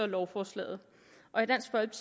lovforslaget